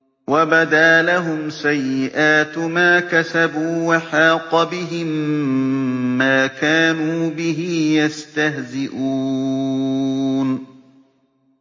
وَبَدَا لَهُمْ سَيِّئَاتُ مَا كَسَبُوا وَحَاقَ بِهِم مَّا كَانُوا بِهِ يَسْتَهْزِئُونَ